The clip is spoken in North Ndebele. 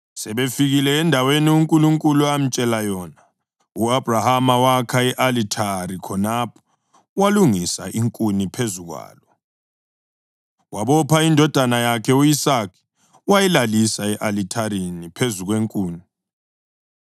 Sebefikile endaweni uNkulunkulu amtshela yona, u-Abhrahama wakha i-Alithari khonapho walungisa inkuni phezu kwalo. Wabopha indodana yakhe u-Isaka wayilalisa e-alithareni phezu kwenkuni.